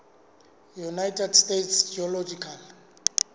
united states geological